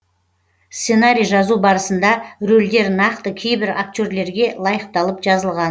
сценарий жазу барысында рөлдер нақты кейбір актерлерге лайықталып жазылған